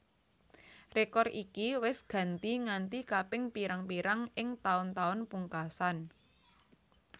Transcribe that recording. Rekor iki wis ganti nganti kaping pirang pirang ing taun taun pungkasan